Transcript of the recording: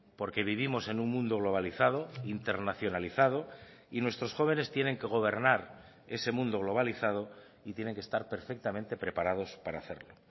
porque vivimos en un mundo globalizado internacionalizado y nuestros jóvenes tienen que gobernar ese mundo globalizado y tienen que estar perfectamente preparados para hacerlo